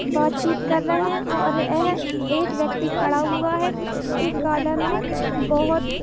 बात चीत कर रहे और यह एक व्यक्ति खड़ा हुआ है इस गार्डन मे बहोत --